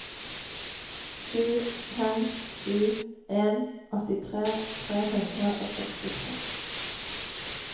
sju fem sju en åttitre tre hundre og sekstitre